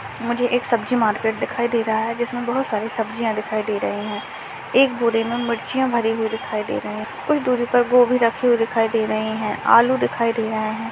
मुझे एक सब्ज़ी मार्केट दिखाई दे रहा है जिसमें बहोत सारे सब्जियां दिखाई दे रहे हैं एक बोरे में मिर्चियां भरी हुई दिखाई दे रहे हैं कुछ दूरी पर गोभी रखी हुई दिखाई दे रही हैं आलू दिखाई दे रहे हैं।